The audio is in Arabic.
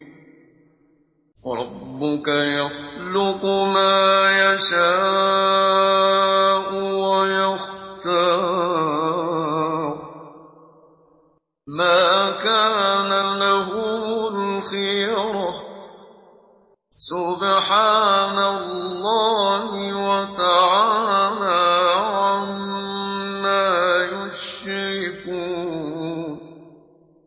وَرَبُّكَ يَخْلُقُ مَا يَشَاءُ وَيَخْتَارُ ۗ مَا كَانَ لَهُمُ الْخِيَرَةُ ۚ سُبْحَانَ اللَّهِ وَتَعَالَىٰ عَمَّا يُشْرِكُونَ